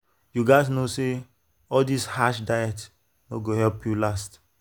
you gats know say all this harsh diet no go help help you last.